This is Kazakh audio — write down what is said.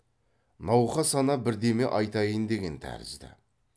науқас ана бірдеме айтайын деген тәрізді